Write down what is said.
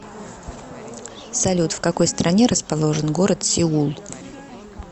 салют в какой стране расположен город сеул